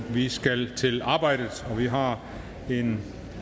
vi skal til arbejdet og vi har en